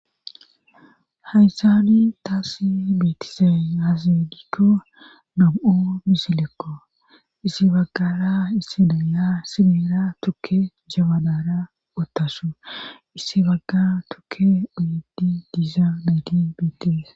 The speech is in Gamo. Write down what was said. Haysani taassi beettizay aaze giikko naa7u misilekko issi baggara issi delas issi miyera tukke jabanaara uttasu issi baggara tukke uyiiddi diza nayti bettes.